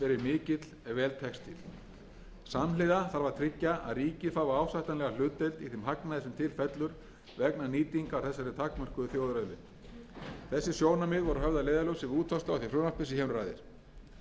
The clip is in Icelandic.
tekst til samhliða þarf að tryggja að ríkið fái ásættanlega hlutdeild í þeim hagnaði sem til fellur vegna nýtingar á þessari takmörkuðu þjóðarauðlind þessi sjónarmið voru höfð að leiðarljósi við útfærslu á því frumvarpi sem hér um ræðir frumvarpið miðar að